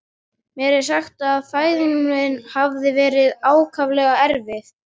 Mér er sagt að fæðing mín hafi verið ákaflega erfið.